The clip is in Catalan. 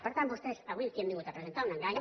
per tant vostès avui aquí han vingut a presentar un engany